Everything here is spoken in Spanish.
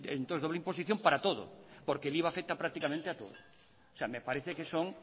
que eso entonces es doble imposición para todo porque el iva afecta prácticamente a todo me parece que son